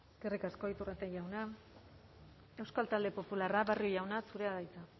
eskerrik asko iturrate jauna euskal talde popularra barrio jauna zurea da hitza